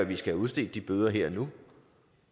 vi skal udstede de bøder her og nu